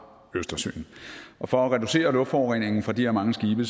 østersøen og for at reducere luftforureningen fra de her mange skibe